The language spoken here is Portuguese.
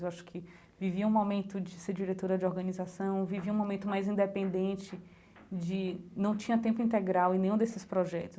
Eu acho que vivi um momento de ser diretora de organização, vivi um momento mais independente de não tinha tempo integral em nenhum desses projetos.